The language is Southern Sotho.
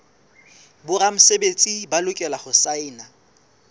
boramesebetsi ba lokela ho saena